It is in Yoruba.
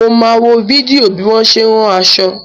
Mo máa wo fídíò bí wọ́n ṣe ń rán aṣọ.